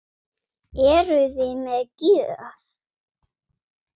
Eruði með gjöf?